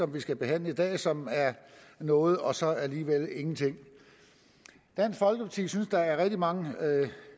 vi skal behandle i dag som er noget og så alligevel ingenting dansk folkeparti synes der er rigtig mange